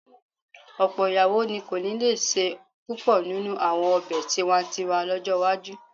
Ọ̀pọ̀ ìyàwó ni kò ní lè se púpọ̀ nínú àwọn ọ̀bẹ tiwa-n-tiwa lọ́jọ́ iwájú